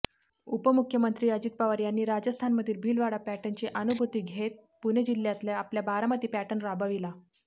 उपमुख्यमंत्री अजित पवार यांनी राजस्थानमधील भीलवाडा पॅटर्नची अनुभूती घेत पुणे जिल्ह्यातल्या आपल्या बारामती पॅटर्न राबविला